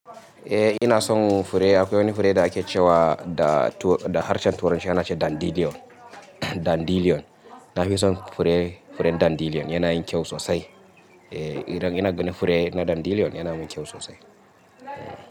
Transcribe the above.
Eh ina son fure. Akwai wani fure da ake cewa da to, da harshen turancin ana ce dandidion, dandilion. Na fi son fure, furen dandelion yana yin kyau sosai. Eh, idan ina ganin fure na dandelion yana min kyau sosai.